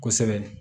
Kosɛbɛ